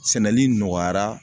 Sɛnɛli nɔgɔyara.